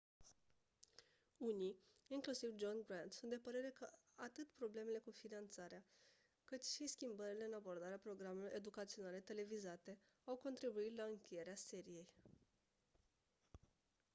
unii inclusiv john grant sunt de părere că atât problemele cu finanțarea cât și schimbările în abordarea programelor educaționale televizate au contribuit la încheierea seriei